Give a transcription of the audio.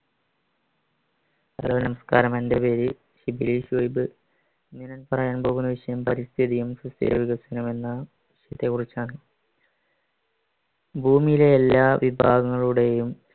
hello നമസ്കാരം എന്റെ പേര് ഷിബിലി ശുഐബ് ഞാൻ പറയാൻ പോകുന്ന വിഷയം പരിസ്ഥിതിയും എന്ന വിഷയത്തെ കുറിച്ചാണ് ഭൂമിയിലെ എല്ലാ വിഭാങ്ങളുടെയും